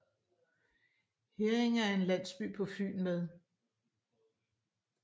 Herringe er en landsby på Fyn med